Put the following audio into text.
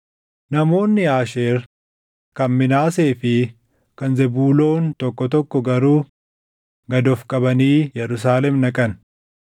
Namoonni Aasheer, kan Minaasee fi kan Zebuuloon tokko tokko garuu gad of qabanii Yerusaalem dhaqan.